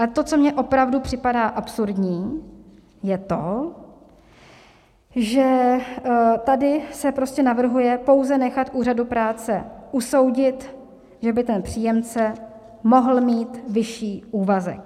Ale to, co mi opravdu připadá absurdní, je to, že tady se prostě navrhuje pouze nechat úřadu práce usoudit, že by ten příjemce mohl mít vyšší úvazek.